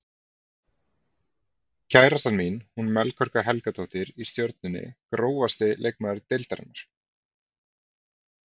Kærastan mín hún Melkorka Helgadóttir í Stjörnunni Grófasti leikmaður deildarinnar?